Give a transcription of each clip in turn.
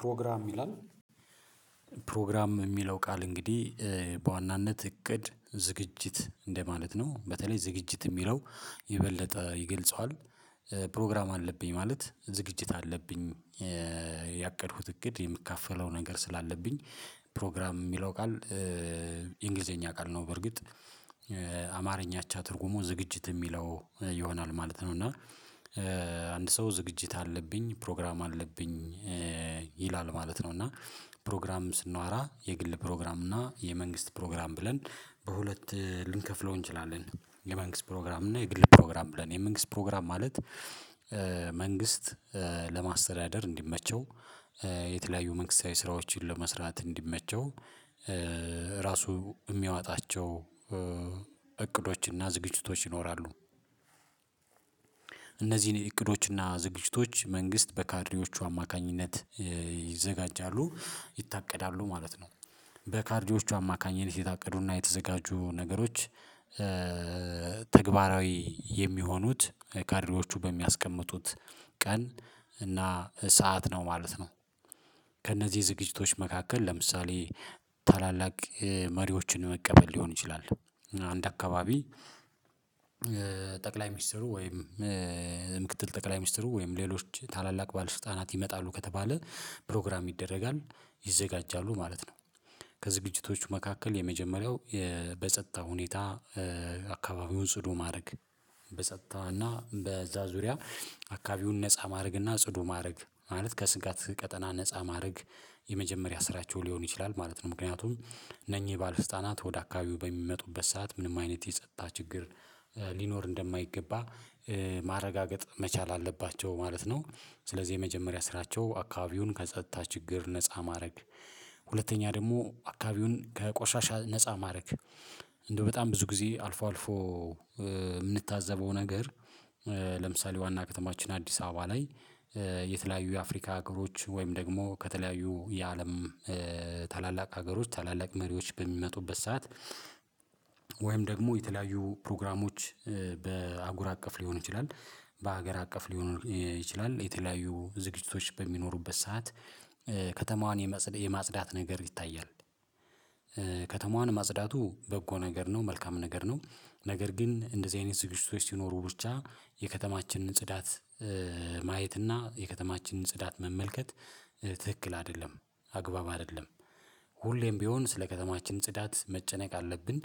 ፕሮግራም ይላል ፕሮግራም የሚለው ቃል እንግዲህ በዋናነት እቅድ ዝግጅት እንደማለት ነው በተለይ ዝግጅት የሚለው ይበልጥ ይገልጸዋል። ፕሮግራም አለብኝ ማለት ዝግጅት አለብኝ ያቀድኩት እቅድ የምካፈለው ነገር ስላለብኝ። ፕሮግራም የሚለው ቃል የእንግሊዘኛ ቃል ነው። በርግጥ አማርኛቻ ትርጉሙ ዝግጅት የሚለው ይሆናል ማለት ነው። እና አንድ ሰው ዝግጅት አለብኝ ፕሮግራም አለብኝ ይላል ማለት ነው። እና ፕሮግራም ስናወራ የግል ፕሮግራም እና የመንግስት ፕሮግራም ብለን በሁለት ልንከፍለው እንችላለን። የመንግስት ፕሮግራም እና የግል ፕሮግራም ብለን የመንግስት ፕሮግራም ማለት መንግስት ለማስተዳደር እንዲመቸው የተለያዩ መንግስታዊ ስራዎችን ለመስራት እንዲመቸው ራሱ የሚያዋጣቸው እቅዶችና ዝግጅቶች ይኖራሉ። እነዚህን እቅዶችና ዝግጅቶች መንግስት በካድሬዎቹ አማካኝነት ይዘጋጃሉ ይታቀዳሉ ማለት ነው። በካድሬዎቹ አማካኝነት የታቀዱና የተዘጋጁ ነገሮች ተግባራዊ የሚሆኑት ካድሬዎቹ በሚያስቀምጡት ቀን እና ሰዓት ነው ማለት ነው። ከእነዚህ ዝግጅቶች መካከል ለምሳሌ ታላላቅ መሪዎችን መቀበል ሊሆን ይችላል። አንድ አካባቢ ጠቅላይ ሚኒስትሩ ወይም ምክትል ጠቅላይ ሚኒስትሩ ወይም ሌሎች ታላላቅ ባለስልጣናት ይመጣሉ ከተባለ ፕሮግራም ይደረጋል ይዘጋጃሉ ማለት ነው። ከዝግጅቶቹ መካከል የመጀመሪያው በጸጥታ ሁኔታ አካባቢውን ጽዱ ማድረግ በጸጥታ እና በዛ ዙሪያ አካባቢውን ነፃ ማድረግ እና ጽዱ ማድረግ ማለት ከስጋት ቀጠና ነፃ ማድረግ የመጀመሪያ ስራቸው ሊሆን ይችላል ማለት ነው። ምክንያቱም እነኚህ ባልፍስልጣናት ወደ አካባቢው በሚመጡበት ሰዓት ምንም አይነት የጸጥታ ችግር ሊኖር እንደማይገባ ማረጋገጥ መቻል አለባቸው ማለት ነው። ስለዚህ የመጀመሪያ ስራቸው አካባቢውን ከጸጥታ ችግር ነፃ ማድረግ ሁለተኛ ደግሞ አካባቢውን ከቆሻሻ ነፃ ማድረግ እንደው በጣም ብዙ ጊዜ አልፎ አልፎ የምንታዘበው ነገር። ለምሳሌ ዋና ከተማችን አዲስ አበባ ላይ የተለያዩ የአፍሪካ ሀገሮች ወይም ደግሞ ከተለያዩ የአለም ታላላቅ ሀገሮች ታላላቅ መሪዎች በሚመጡበት ሰዓት ወይም ደግሞ የተለያዩ ፕሮግራሞች በሀጉር አቀፍ ሊሆን ይችላል። በሀገር አቀፍ ሊሆን ይችላል የተለያዩ ዝግጅቶች በሚኖሩበት ሰዓት ከተማዋን የማጽዳት ነገር ይታያል። ከተማዋን ማጽዳቱ በጎ ነገር ነው መልካም ነገር ነው። ነገር ግን እንደዚህ አይነት ዝግጅቶች ሲኖሩ ብቻ የከተማችንን ጽዳት ማየት እና የከተማችንን ጽዳት መመልከት ትክክል አይደለም አግባብ አይደለም። ሁሌም ቢሆን ስለ ከተማችን ጽዳት መጨነቅ አለብን።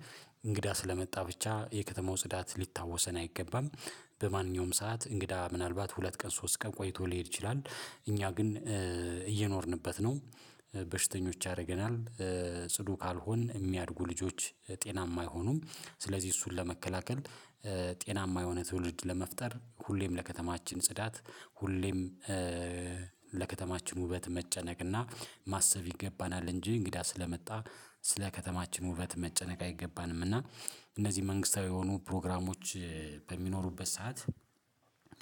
እንግዳ ስለመጣ ብቻ የከተማው ጽዳት ሊታወሰን አይገባም። በማንኛውም ሰዓት እንግዳ ምናልባት ሁለት ቀን ሶስት ቀን ቆይቶ ሊሄድ ይችላል። እኛ ግን እየኖርንበት ነው። በሽተኞች ያደርገናል። ጽዱ ካልሆነ የሚያድጉ ልጆች ጤናማ አይሆኑም። ስለዚህ እሱን ለመከላከል ጤናማ የሆነ ትውልድ ለመፍጠር ሁሌም ለከተማችን ጽዳት ሁሌም ለከተማችን ውበት መጨነቅና ማሰብ ይገባናል። እንጂ እንግዳ ስለመጣ ስለ ከተማችን ውበት መጨነቅ አይገባንም። እና እነዚህ መንግስታዊ የሆኑ ፕሮግራሞች በሚኖሩበት ሰዓት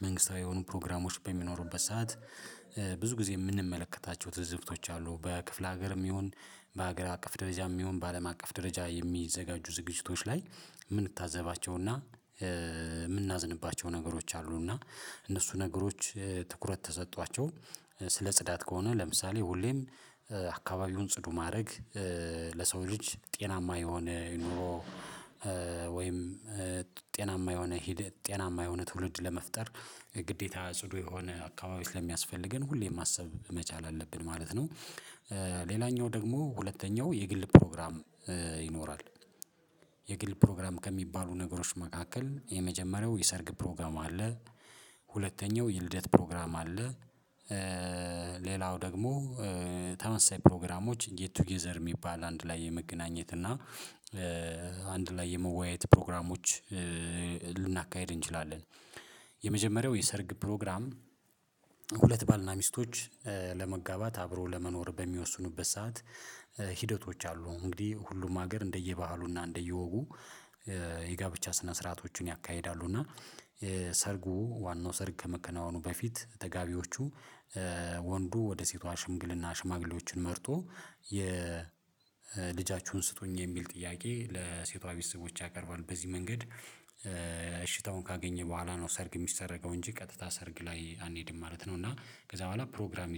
መንግስታዊ የሆኑ ፕሮግራሞች በሚኖሩበት ሰዓት ብዙ ጊዜ የምንመለከታቸው ትዝብቶች አሉ። በክፍለ ሀገርም ይሁን በሀገር አቀፍ ደረጃም ይሁን በአለም አቀፍ ደረጃ የሚዘጋጁ ዝግጅቶች ላይ የምንታዘባቸውና የምናዝንባቸው ነገሮች አሉና። እነሱ ነገሮች ትኩረት ተሰጧቸው ስለ ጽዳት ከሆነ ለምሳሌ ሁሌም አካባቢውን ጽዱ ማድረግ ለሰው ልጅ ጤናማ የሆነ ይኑሮ። ወይም ጤናማ የሆነ ትውልድ ለመፍጠር ግዴታ ጽዱ የሆነ አካባቢ ስለሚያስፈልገን ሁሌም ማሰብ መቻል አለብን ማለት ነው። ሌላኛው ደግሞ ሁለተኛው የግል ፕሮግራም ይኖራል። የግል ፕሮግራም ከሚባሉ ነገሮች መካከል የመጀመሪያው የሰርግ ፕሮግራም አለ። ሁለተኛው የልደት ፕሮግራም አለ። ሌላው ደግሞ ተመሳሳይ ፕሮግራሞች የቱጌዘር የሚባል አንድ ላይ የመገናኘት እና አንድ ላይ የመወያየት ፕሮግራሞች ልናካሂድ እንችላለን። የመጀመሪያው የሰርግ ፕሮግራም ሁለት ባልና ሚስቶች ለመጋባት አብሮ ለመኖር በሚወስኑበት ሰዓት ሂደቶች አሉ እንግዲህ ሁሉም ሀገር እንደየበአሉና እንደየወጉ የጋብቻ ስነ ስርዓቶችን ያካሂዳሉ እና የሰርጉ ዋናው ሰርግ ከመከናወኑ በፊት ተጋቢዎቹ። ወንዱ ወደ ሴቷ ሽምግልና ሽማግሌዎችን መርጦ የልጃችሁን ስጦኝ የሚል ጥያቄ ለሴቷ ቤተሰቦች ያቀርባል በዚህ መንገድ እሽታውን ካገኘ በኋላ ነው ሰርግ የሚሰረገው እንጂ ቀጥታ ሰርግ ላይ አንሄድም ማለት ነው። እና ከዛ በኋላ ፕሮግራም